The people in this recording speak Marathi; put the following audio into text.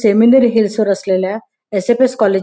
सेमीनीर हिल्स वर असलेल्या एस.एफ.एस. कॉलेज --